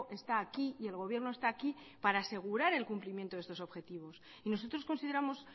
está aquí y el gobierno está aquí para asegurar el cumplimiento de estos objetivos y nosotros consideramos